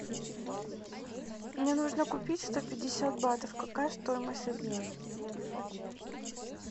мне нужно купить сто пятьдесят батов какая стоимость обмена